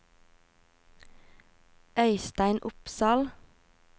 Øistein Opsahl